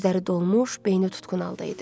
Gözləri dolmuş, beyni tutqun halda idi.